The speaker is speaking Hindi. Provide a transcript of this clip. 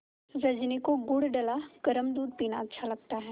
रजनी को गुड़ डला गरम दूध पीना अच्छा लगता है